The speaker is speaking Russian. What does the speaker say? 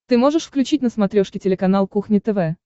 ты можешь включить на смотрешке телеканал кухня тв